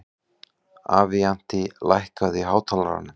Avantí, lækkaðu í hátalaranum.